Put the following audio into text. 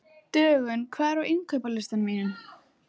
Dögun, hvað er á innkaupalistanum mínum?